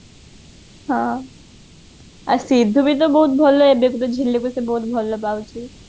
ହଁ ଆଉ ସିଦ୍ଧୁ ବି ତ ବହୁତ ଭଲ ଏବେତ ସେ ଝିଲିକୁ ବହୁତ ଭଲ ପାଉଛି